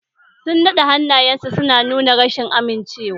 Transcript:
Sun naɗe hannayensu suna nuna rashin amincewa.